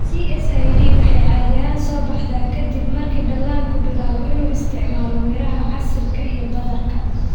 CSID waxay caadi ahaan soo baxdaa ka dib marka dhallaanku bilaabo inuu isticmaalo miraha, casiirka, iyo badarka.